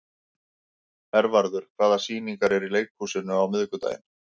Hervarður, hvaða sýningar eru í leikhúsinu á miðvikudaginn?